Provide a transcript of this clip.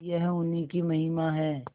यह उन्हीं की महिमा है